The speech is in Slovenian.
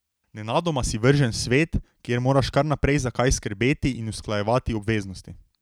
Nenadoma si vržen v svet, kjer moraš kar naprej za kaj skrbeti in usklajevati obveznosti.